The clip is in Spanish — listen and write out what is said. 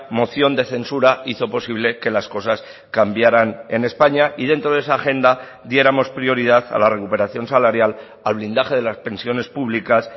moción de censura hizo posible que las cosas cambiaran en españa y dentro de esa agenda diéramos prioridad a la recuperación salarial al blindaje de las pensiones públicas